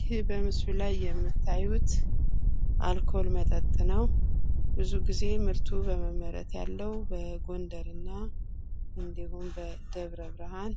ይህ በምስሉ ላይ የምታዩት አልኮል መጠጥ ነው። ብዙ ጊዜ ምርቱ በመመረት ያለው በጎንደር እና እንድሁም በደብ ብርሃን